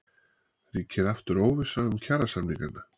Ríkir aftur óvissa um kjarasamningana?